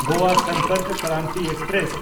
Goa Sampark Kranti express